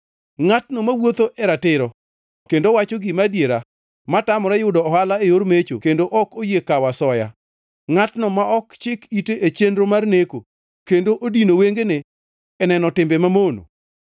Ngʼatno mawuotho e ratiro kendo wacho gima adiera, ma tamore yudo ohala e yor mecho kendo ok oyie kawo asoya, ngʼatno ma ok chik ite e chenro mar neko, kendo odino wengene e neno timbe mamono,